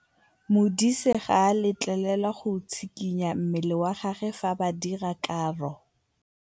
Modise ga a letlelelwa go tshikinya mmele wa gagwe fa ba dira karô.